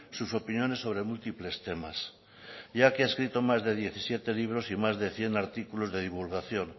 sus opiniones sobre múltiples temas ya que ha escrito más de diecisiete libros y más de cien artículos de divulgación